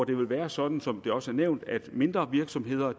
det vil være sådan som det også er nævnt at mindre virksomheder